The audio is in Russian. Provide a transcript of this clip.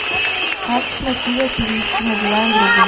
как с мотива перевести на билайн другу